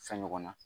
Fɛn ɲɔgɔnna